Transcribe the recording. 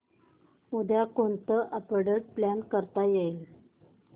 उद्या कोणतं update plan करता येईल